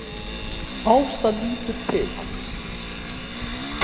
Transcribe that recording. Ása lítur til hans.